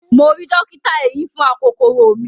Mo ri dọ́kítà eyín fún akokoro mi.